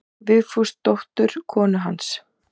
Vigfúsdóttur konu hans.